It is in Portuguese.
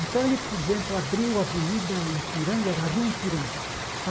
Então, ele, por exemplo, abriu a Avenida Ipiranga, era a Rua Ipiranga.